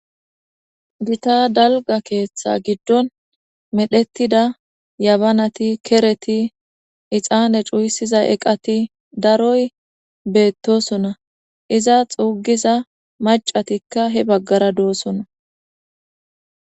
gita dalga keeththa giddon medhettida yabanati , kereti, ixaane cuyisiza eqati , daroy beettosona, iza xuugiza macatikka he baggara doosona